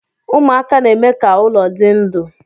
Ụmụaka na-eme ka ụlọ dị ndụ